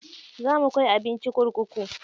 Za mu kai abinci kurkuku.